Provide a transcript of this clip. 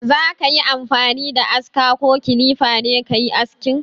Za ka yi amfani da aska ko kilifa ne ka yi aski?